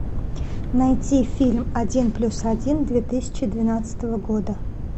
найти фильм один плюс один две тысячи двенадцатого года